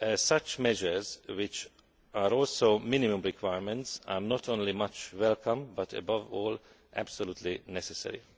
Such measures, which are also minimum requirements, are not only much welcomed but above all absolutely necessary.